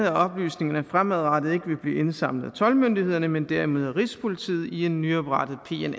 oplysningerne fremadrettet ikke vil blive indsamlet af toldmyndighederne men derimod af rigspolitiet i en nyoprettet